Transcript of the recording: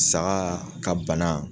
Saga ka bana